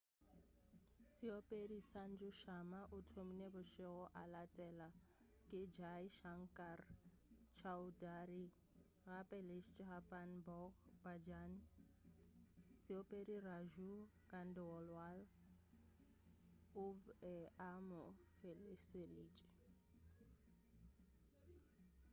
seopedi sanju sharma o thomile bošego a latela ke jai shankar choudhary gape le chhappan bhog bhajan seopedi raju khandelwal o be a mo feleseditše